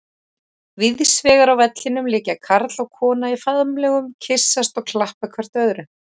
Víðsvegar á vellinum liggja karl og kona í faðmlögum, kyssast og klappa hvert öðru.